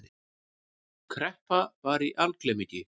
Kreppa var í algleymingi.